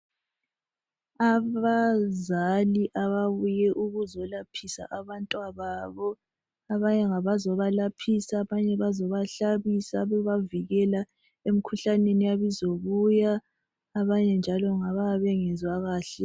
Abazali ababuye ukuzo laphisa abantwa babo abanye ngabazobalaphisa abanye bazoba hlabisa bebavikela emikhuhlaneni eyabe izabuya abanye njalo ngabayabe bengezwa kahle